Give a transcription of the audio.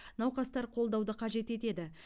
науқастар қолдауды қажет етеді